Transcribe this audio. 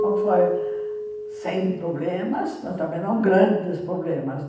Não foi sem problemas, mas também não grandes problemas.